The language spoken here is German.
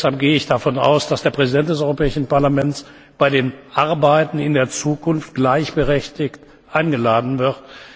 Deshalb gehe ich davon aus, dass der Präsident des Europäischen Parlaments bei den Arbeiten in der Zukunft gleichberechtigt eingeladen wird.